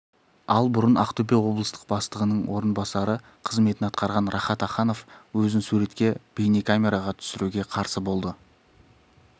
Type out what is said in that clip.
ал бұрын ақтөбе облыстық бастығының орынбасары қызметін атқарған рахат аханов өзін суретке бейнекамераға түсіруге қарсы болды